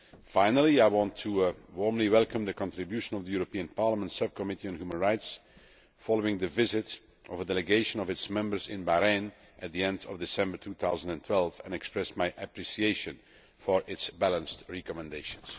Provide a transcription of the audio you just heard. Finally I would like to warmly welcome the contribution of the European Parliament's Subcommittee on Human Rights, following the visit of a delegation of its members to Bahrain at the end of December 2012, and express my appreciation for its balanced recommendations.